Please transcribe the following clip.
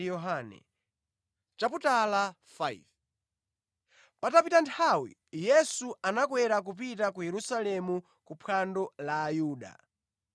Patapita nthawi Yesu anakwera kupita ku Yerusalemu ku phwando la Ayuda.